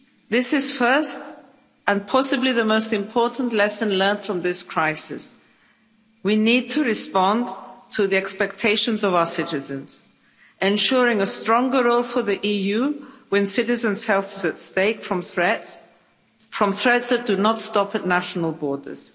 This is the first and possibly the most important lesson learned from this crisis we need to respond to the expectations of our citizens, ensuring a stronger role for the EU when citizens' health is at stake from threats threats which do not stop at national borders.